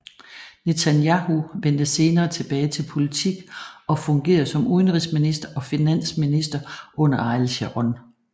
Netanyahu vendte senere tilbage til politik og fungerede som udenrigsminister og finansminister under Ariel Sharon